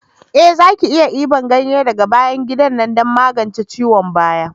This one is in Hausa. Eh za ki iya dibar ganye daga bayan gida na don magance ciwon baya.